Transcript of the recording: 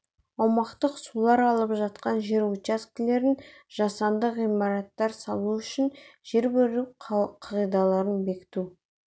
аумақтық сулар алып жатқан жер учаскелерін жасанды ғимараттар салу үшін беру қағидаларын бекіту